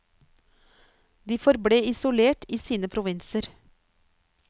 De forble isolert i sine provinser.